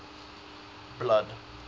blood